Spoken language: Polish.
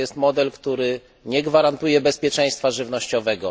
To jest model, który nie gwarantuje bezpieczeństwa żywnościowego.